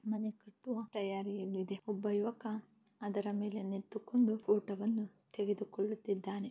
ಮನೆ ಕಟ್ಟುವ ತಯಾರಿಯಲ್ಲಿದೆ. ಒಬ್ಬ ಯುವಕ ಅದರ ಮೇಲೆ ನಿಂತುಕೊಂಡು ಫೋಟೋ ವನ್ನು ತೆಗೆದುಕೊಳ್ಳುತ್ತಿದ್ದಾನೆ.